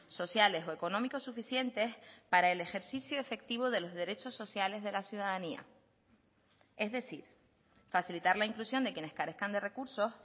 sociales o económicos suficientes para el ejercicio efectivo de los derechos sociales de la ciudadanía es decir facilitar la inclusión de quienes carezcan de recursos